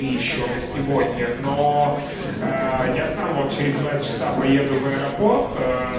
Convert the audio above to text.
и ещё на сегодня но я сам вот через два часа поеду в аэропорт